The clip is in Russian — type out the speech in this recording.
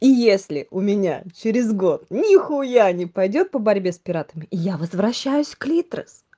и если у меня через год нихуя не пойдёт по борьбе с пиратами и я возвращаюсь к литрес